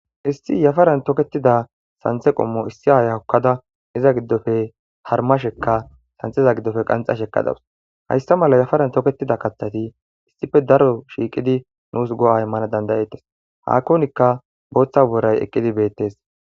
Issi yafaran toketida santha qommo issi aaya hokkada iza giddope harmashekka santhaza giddoppe qanxasheka dawusu. Hayssa mala yafaran toketida kaththati issippe daro shiiqidi nuusi go'a immana dandayettes. Haanikko booththa booray eqqidi beettes.